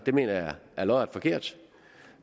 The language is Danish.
jeg mener det er lodret forkert